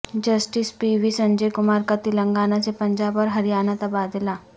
justice P V Sanjay Kumar کا تلنگانہ سے پنجاب اور ہریانہ تبادلہ